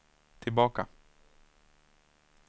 tillbaka